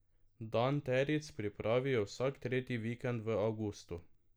Dan teric pripravijo vsak tretji vikend v avgustu.